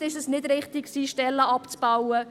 Vielleicht war es nicht richtig, Stellen abzubauen.